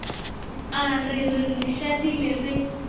a re re šadile re